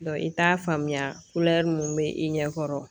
i t'a faamuya mun bɛ i ɲɛkɔrɔ